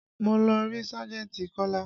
Mo lọ rí sájẹ̀ntì Kola